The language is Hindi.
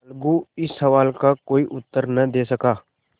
अलगू इस सवाल का कोई उत्तर न दे सका